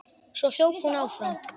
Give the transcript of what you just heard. Svo hljóp hún áfram.